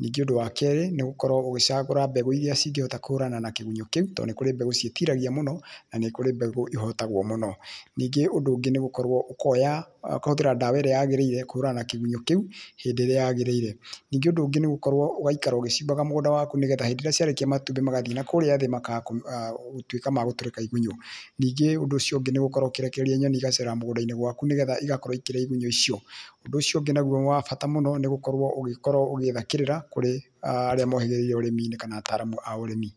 ningĩ ũndũ wa kerĩ nĩgũkorwo ũgĩcagũra mbegũ iria cingĩhota kũhũrana na kĩgunyo kĩu tondũ nĩ kũri mbegũ ciĩtiragia mũno na nĩ kũrĩ mbegũ cihotagwo mũno. Ningĩ ũndũ ũngĩ nĩ gũkorwo ũkĩhũthĩra ndawa ĩrĩa yagĩrĩire ũkahũrana na kĩgunyo kĩu hĩndĩ ĩrĩa yagĩrĩire, ningĩ ũndũ ũngi nĩgũikaraga ũgĩcimbaga mũgũnda waku nĩgetha hĩndĩ ĩrĩa ciarekia matumbĩ magathie na kũrĩa thĩ makaga gũtũĩka ma gutũrĩka igunyo. Ningĩ ũndũ ũcio ũngĩ nĩ gũkorwo ũkĩrekereria nyoni cigacera mũgũndainĩ waku nĩgetha igakorwo ikĩrĩa igunyo icio. Ũndũ ũciongĩ wa bata muno nĩ gũkorwo ũgĩetha kĩrĩra kũrĩ arĩa mohĩgĩrĩire ũrĩminĩ kana ataramu a ũrĩmi.